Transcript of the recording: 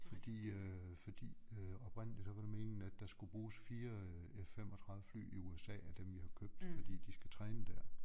Fordi øh fordi øh oprindeligt så var det meningen at der skulle bruges 4 øh F35 fly i USA af dem vi har købt fordi de skal træne dér